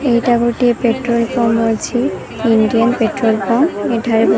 ଏଇଟା ଗୋଟିଏ petrol pump ଅଛି ଇଣ୍ଡିଆନ୍ ପେଟ୍ରୋଲ୍ ପମ୍ପ୍ ଏଠାରେ --